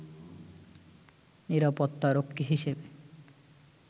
নিরাপত্তারক্ষী হিসেবে